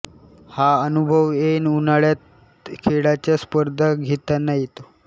हा अनुभव ऐन उन्हाळ्यात खेळाच्या स्पर्धा घेताना येतो